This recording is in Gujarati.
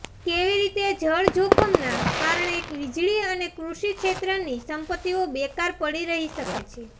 કેવી રીતે જળ જોખમના કારણે વીજળી અને કૃષિ ક્ષેત્રની સંપત્તિઓ બેકાર પડી રહી શકે છે